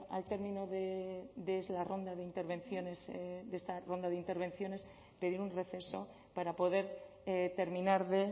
al término de la ronda de intervenciones de esta ronda de intervenciones pedir un receso para poder terminar de